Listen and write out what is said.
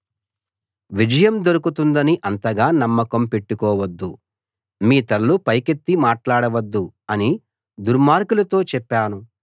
విజయం దొరుకుతుందని అంతగా నమ్మకం పెట్టుకోవద్దు మీ తలలు పైకెత్తి మాట్లాడవద్దు అని దుర్మార్గులతో చెప్పాను